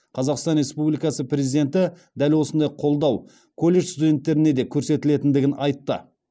қазақстан республикасы президенті дәл осындай қолдау колледж студенттеріне де көрсетілетіндігін айтты